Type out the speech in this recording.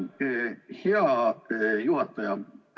Suur tänu, hea juhataja!